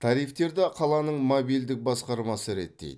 тарифтерді қаланың мобильділік басқармасы реттейді